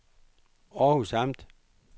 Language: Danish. Århus Amt